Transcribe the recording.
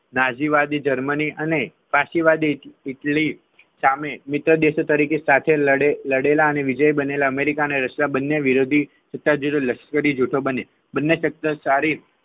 નાસી વાદી જર્મની અને પ્રાચી વાદી ઈટલી સામે મિત્ર દેશો તરીકે સાથે લડેલા અને વિજય બનેલા અમેરિકા અને રશિયા બંને વિરોધી લશ્કરી જૂથો બન્યા